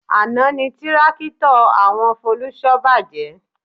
Àná ni tírákítọ̀ àwọn Folúṣọ́ bàjẹ́